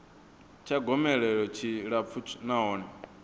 tsha gomelelo tshi tshilapfu nahone